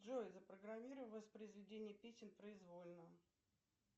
джой запрограммируй воспроизведение песен произвольно